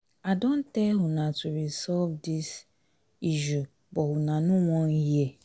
i don tell una to resolve dis resolve dis issue but una no wan hear